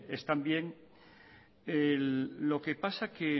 lo que pasa que